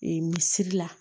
mesiri la